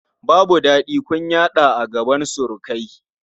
Babu daɗi kunyata a gaban surukai.